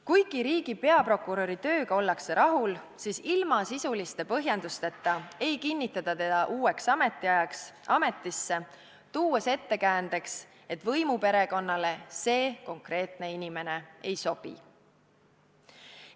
Kuigi riigi peaprokuröri tööga ollakse rahul, siis ilma sisuliste põhjendusteta ei kinnitata teda uueks ametiajaks ametisse, tuues ettekäändeks, et võimuperekonnale see konkreetne inimene ei sobi.